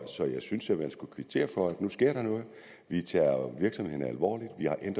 så jeg synes at man skal kvittere for at der nu sker noget vi tager virksomhederne alvorligt